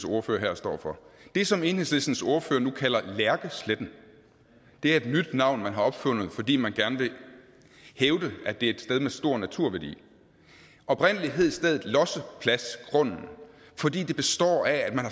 ordfører her står for det som enhedslistens ordfører nu kalder lærkesletten er et nyt navn som man har opfundet fordi man gerne vil hævde at det er et sted med stor naturværdi oprindelig hed stedet lossepladsgrunden fordi den består af at man